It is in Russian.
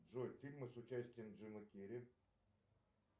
джой фильмы с участием джима керри